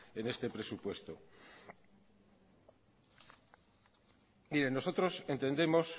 en este presupuesto miren nosotros entendemos